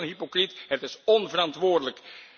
Het is meer dan hypocriet het is onverantwoordelijk.